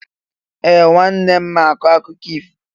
Ee! Nwanne m ma akọ akụkọ ifo.